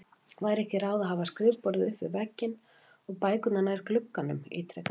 Væri ekki ráð að hafa skrifborðið upp við vegginn og bækurnar nær glugganum? ítrekaði hann.